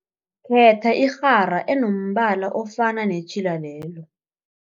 Khetha irhara enombala ofana netjhila lelo.